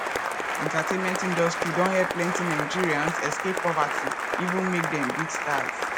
entertainment industry don help plenty nigerians escape poverty even make dem big stars